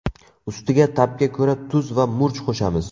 Ustiga ta’bga ko‘ra tuz va murch qo‘shamiz.